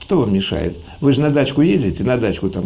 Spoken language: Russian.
что вам мешает вы же на дачку ездите на дачку там